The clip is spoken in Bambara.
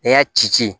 I y'a ci ci